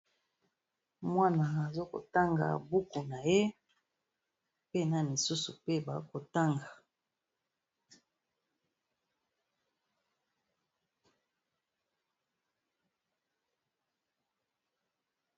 mwana azakotanga buku na ye mpena misusu mpe bakotanga